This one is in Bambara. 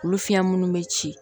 Olu fiɲɛ minnu bɛ ci